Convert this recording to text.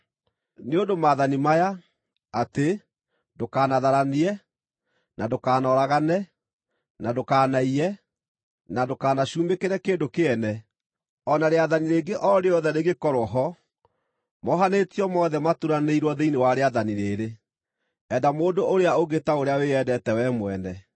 Nĩ ũndũ maathani maya, atĩ “Ndũkanatharanie,” na “Ndũkanoragane,” na “Ndũkanaiye”, na “Ndũkanacumĩkĩre kĩndũ kĩene,” o na rĩathani rĩngĩ o rĩothe rĩngĩkorwo ho, mohanĩtio mothe maturanĩirwo thĩinĩ wa rĩathani rĩĩrĩ: “Enda mũndũ ũrĩa ũngĩ ta ũrĩa wĩyendete wee mwene.”